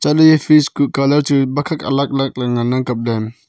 taley fresh kuh colour bak khak alak lak ley ngan ang kap ley.